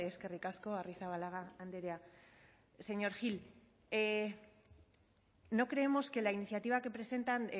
eskerrik asko arrizabalaga andrea señor gil no creemos que la iniciativa que presentan